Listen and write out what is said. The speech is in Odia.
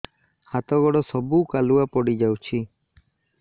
ହାତ ଗୋଡ ସବୁ କାଲୁଆ ପଡି ଯାଉଛି